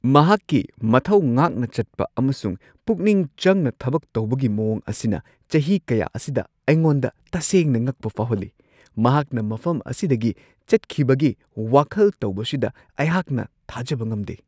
ꯃꯍꯥꯛꯀꯤ ꯃꯊꯧ ꯉꯥꯛꯅ ꯆꯠꯄ ꯑꯃꯁꯨꯡ ꯄꯨꯛꯅꯤꯡ ꯆꯪꯅ ꯊꯕꯛ ꯇꯧꯕꯒꯤ ꯃꯋꯣꯡ ꯑꯁꯤꯅ ꯆꯍꯤ ꯀꯌꯥ ꯑꯁꯤꯗ ꯑꯩꯉꯣꯟꯗ ꯇꯁꯦꯡꯅ ꯉꯛꯄ ꯐꯥꯎꯍꯜꯂꯤ; ꯃꯍꯥꯛꯅ ꯃꯐꯝ ꯑꯁꯤꯗꯒꯤ ꯆꯠꯈꯤꯕꯒꯤ ꯋꯥꯈꯜ ꯇꯧꯕꯁꯤꯗ ꯑꯩꯍꯥꯛꯅ ꯊꯥꯖꯕ ꯉꯝꯗꯦ ꯫